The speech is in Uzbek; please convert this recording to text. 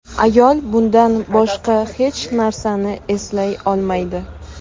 Ayol bundan boshqa hech narsani eslay olmaydi.